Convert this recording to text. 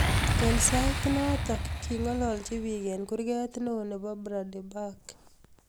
Eng sait notok kingalalji pik eng kurgrt neo nebo Brandenburg.